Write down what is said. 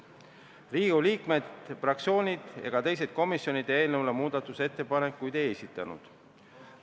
Riigikogu liikmed, fraktsioonid ega teised komisjonid eelnõu kohta muudatusettepanekuid ei esitanud.